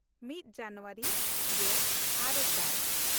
ᱢᱤᱫ ᱡᱟᱱᱩᱣᱟᱨᱤ ᱜᱮᱼᱟᱨᱮ ᱥᱟᱭ